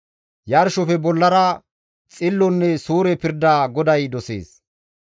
Yarshofe bollara xillonne suure pirda GODAY dosees.